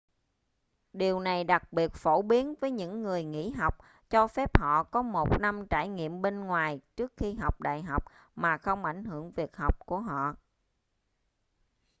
điều này đặc biệt phổ biến với những người nghỉ học cho phép họ có một năm trải nghiệm bên ngoài trước khi học đại học mà không ảnh hưởng việc học của họ